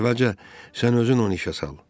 Əvvəlcə sən özün onu işə sal.